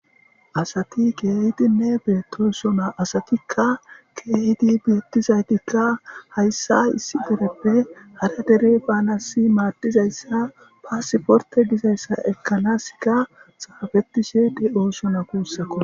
asati geehidinne beettosona asatikka keehidi beettizaytikka hayssa issi dereppe hara dere baanasi maaddizayssa paasiporte gizayssa ekkanaska xaafettishe de oosona kuussakko